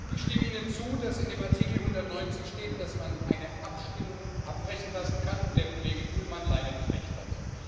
Ich stimme Ihnen zu, dass in dem Artikel 190 steht, dass man eine Abstimmung abbrechen lassen kann und der Kollege Bullmann leider nicht Recht hat.